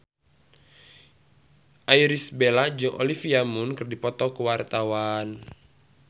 Irish Bella jeung Olivia Munn keur dipoto ku wartawan